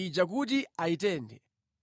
ija kuti ayitenthe.